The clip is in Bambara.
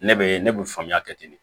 Ne bɛ ne bɛ faamuya kɛ ten de